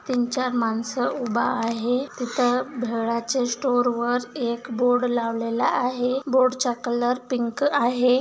तीन चार माणसं उभा आहे तिथ भेळाच्या स्टोर वर एक बोर्ड लावलेला आहे बोर्ड चा कलर पिंक आहे.